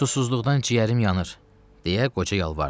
Susuzluqdan ciyərim yanır, deyə qoca yalvardı.